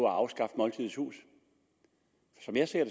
at afskaffe måltidets hus som jeg ser